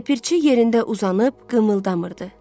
Ləpirçi yerində uzanıb qımıldanmırdı.